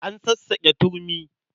An sassaƙe turmi.